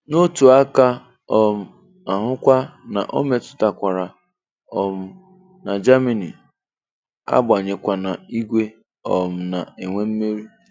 N'otu aka um ahụkwa o metụtakwara um na Germany, agbanwekwana igwe um na-enwe mmeri.